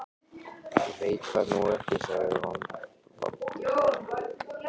Ég veit það nú ekki sagði Valdimar efins.